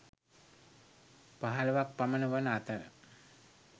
පහළොවක් පමණ වන අතර